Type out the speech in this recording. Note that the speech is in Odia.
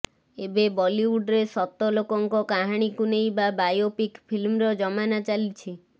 ଏବେ ବଲିଉଡ୍ରେ ସତ ଲୋକଙ୍କ କାହାଣୀକୁ ନେଇ ବା ବାୟୋପିକ୍ ଫିଲ୍ମର ଜମାନା ଚାଲିଛି